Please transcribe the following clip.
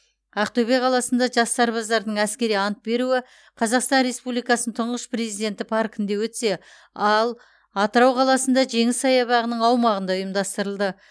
ақтөбе қаласында жас сарбаздардың әскери ант беруі қазақстан республикасының тұңғыш президенті паркінде өтсе ал атырау қаласында жеңіс саябағының аумағында ұйымдастырылды